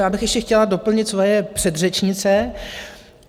Já bych ještě chtěla doplnit svoje předřečnice.